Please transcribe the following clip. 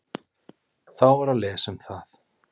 Þá var að lesa um það.